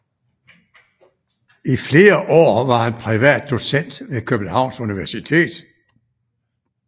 I flere år var han privat docent ved Københavns Universitet